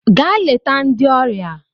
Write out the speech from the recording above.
Gaa leta ndị ọrịa!